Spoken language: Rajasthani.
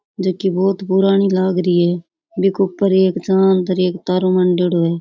जो की बहुत पुरानी लाग रही है बि के ऊपर एक चांद र एक तारो मांडेडो है।